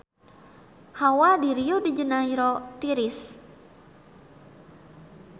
Hawa di Rio de Janairo tiris